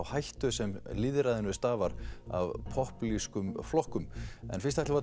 hættu sem lýðræðinu stafar af popúlískum flokkum en fyrst ætlum